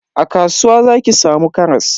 A kasuwa zaki samu karas.